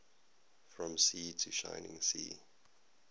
from sea to shining sea